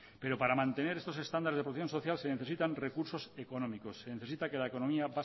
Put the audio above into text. pero para mantener estos estándares de producción social se necesitan recursos económicos se necesita que la economía